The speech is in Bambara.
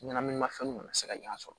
Ɲɛnaminimafɛnw kana se ka ɲɔn sɔrɔ